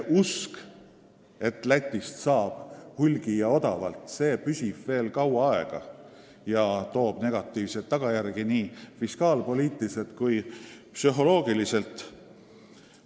Usk, et Lätist saab hulgi ja odavalt, püsib veel kaua ja toob negatiivseid tagajärgi nii fiskaalpoliitiliselt kui psühholoogiliselt.